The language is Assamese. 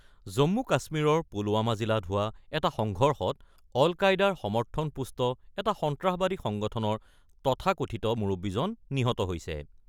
জম্মু - কাশ্মীৰৰ পুলৱামা জিলাত হোৱা এটা সংঘৰ্ষত অল-কায়দাৰ সমৰ্থনপুষ্ট এটা সন্ত্ৰাসবাদী সংগঠনৰ তথাকথিত মুৰব্বীজন নিহত হৈছে।